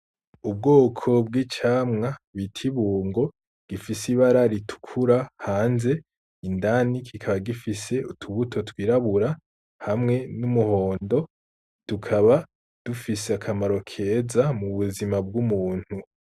Ubwoko bw’icamwa bita ibungo gifise ibara ritukura hanze ,indani kikaba gifise utubuto twirabura hamwe n’umuhondo ,tukaba dufise akamaro keza mu buzima bw’umuntu .